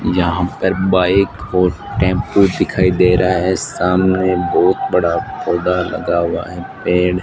यहां पर बाइक और टेंपो दिखाई दे रहा है सामने बहुत बड़ा पौधा लगा हुआ है पेड़ --